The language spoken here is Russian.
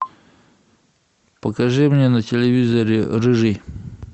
покажи мне на телевизоре рыжий